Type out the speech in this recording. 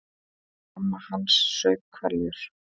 Mamma hans saup hveljur.